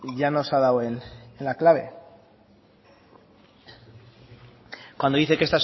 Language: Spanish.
llanos ha dado en la clave cuando dice que